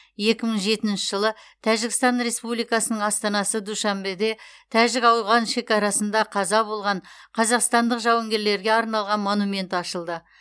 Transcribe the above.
екі мың жетінші жылы тәжікстан республикасының астанасы душанбеде тәжік ауған шекарасында қаза болған қазақстандық жауынгерлерге арналған монумент ашылды